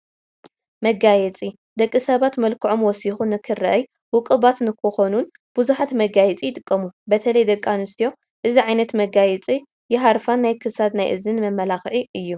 መጋየፂ፡- ደቂ ሰባት መልክዖም ወሲኹ ንኽረአይን ውቁባት ንኽኾኑን ብዙሓት መጋየፂ ይጥቀሙ፡፡ በተለይ ደቂ ኣንስትዮ እዚ ዓይነት መጋየፂ የሃርፋ፡፡ ናይ ክሳድን ናይ እዝንን መመላኽዒ እዩ፡፡